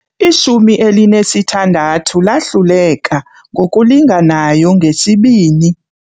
Ishumi elinesithandathu lahluleka ngokulinganayo ngesibini.